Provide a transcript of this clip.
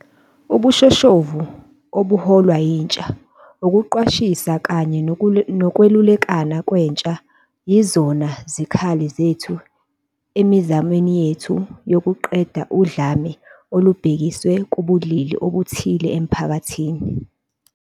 Ubushoshovu obuholwa yintsha, ukuqwashisa kanye nokwelulekana kwentsha yizona zikhali zethu emizamweni yethu yokuqeda udlame olubhekiswe kubulili obuthile emphakathini.